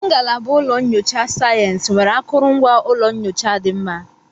Ngalaba ụlọ nyocha sayensị nwere akụrụngwa ụlọ nyocha dị mma?